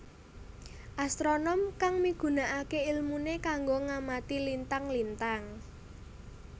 Astronom kang migunakaké ilmuné kanggo ngamati lintang lintang